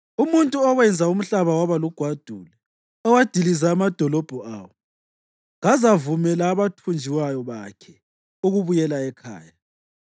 umuntu owenza umhlaba waba lugwadule, owadiliza amadolobho awo, kazavumela abathunjwayo bakhe ukubuyela ekhaya na?”